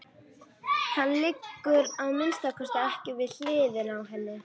Hann liggur að minnsta kosti ekki við hliðina á henni.